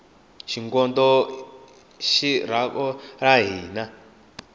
xingondo i ri xaku ra hina